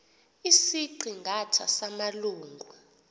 isiqi ngatha samalungu